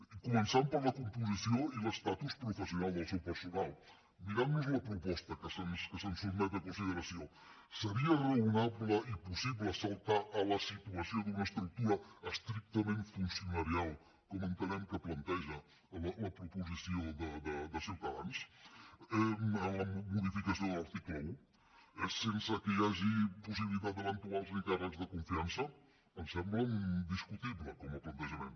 i començant per la composició i l’estatus professional del seu personal mirant nos la proposta que se’ns sotmet a consideració seria raonable i possible saltar a la situació d’una estructura estrictament funcionarial com entenem que planteja la proposició de ciutadans en la modificació de l’article un sense que hi hagi possibilitat d’eventuals ni càrrecs de confiança ens sembla discutible com a plantejament